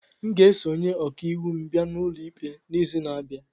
M ga-eso onye ọka iwu m bịa n'ụlọ ikpe n'izu na-abịa.